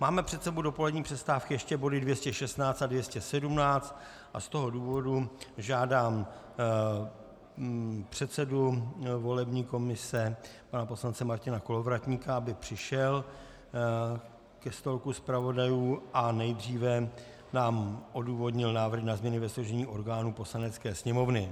Máme před sebou do polední přestávky ještě body 216 a 217 a z toho důvodu žádám předsedu volební komise pana poslance Martina Kolovratníka, aby přišel ke stolku zpravodajů a nejdříve nám odůvodnil návrh na změny ve složení orgánů Poslanecké sněmovny.